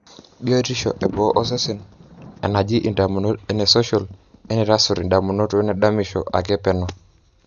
biotisho eboo osesen; enaji indamunot, enesocial, enitaasur indamunot, wenedamisho ake peno